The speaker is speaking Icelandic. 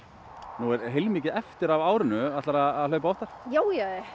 nú er heilmikið eftir af árinu ætlarðu að hlaupa aftur já